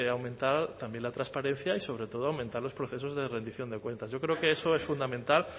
aumentar también la transparencia y sobre todo aumentar los procesos de rendición de cuentas yo creo que eso es fundamental